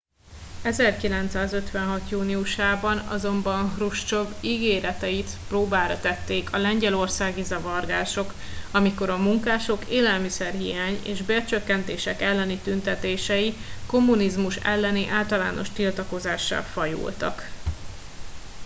1956 júniusában azonban hruscsov ígéreteit próbára tették a lengyelországi zavargások amikor a munkások élelmiszerhiány és bércsökkentések elleni tüntetései kommunizmus elleni általános tiltakozássá fajultak